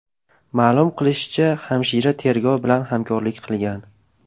Ma’lum qilinishicha, hamshira tergov bilan hamkorlik qilgan.